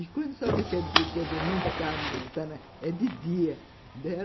E quando sabe que a dentadura não está, é de dia.